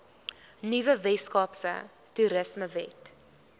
nuwe weskaapse toerismewet